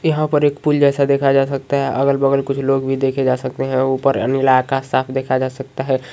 यहाँ पर एक पूल देखा जा सकता है अगल बगल कुछ लोग भी देखे जा सकते है ऊपर नीला आकाश साफ देखा जा सकता है।